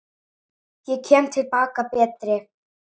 Ég kem til baka betri.